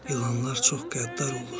İlanlar çox qəddar olur.